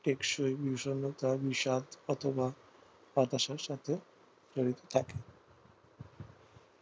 টেকসই বিষন্নতা বিষাদ অথবা হতাশার সাথে